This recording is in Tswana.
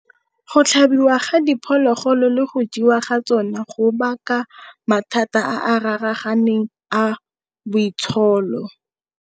Go tlhabiwa ga diphologolo le go jewa ga tsona go baka mathata a raraganeng a boitsholo.